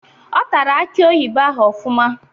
Ọ tara aki oyibo ahụ ofụma